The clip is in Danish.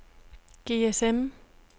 GSM